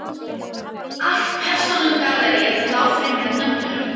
Allt persónugalleríið lá fyrir með nöfnunum